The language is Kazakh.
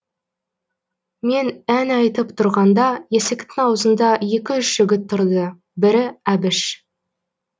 мен ән айтып тұрғанда есіктің аузында екі үш жігіт тұрды бірі әбіш